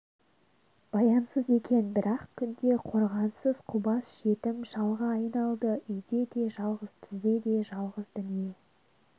баянсыз екен бір-ақ күнде қорғансыз қубас жетім шалға айналды үйде де жалғыз түзде де жалғыз дүние